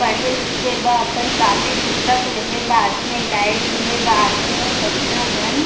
पढ़े लिखे बा अपन कॉपी पुस्तक लेहे बा आथे गाइड लेहे बा आथे बच्चा मन --